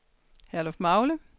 Herlufmagle